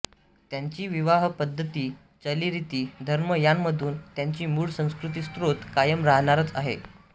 त्यांची विवाहपद्धती चालीरिती धर्म यांमधून त्यांची मूळ संस्कृतीस्त्रोत कायम राहणारच आहे